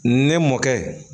Ne mɔkɛ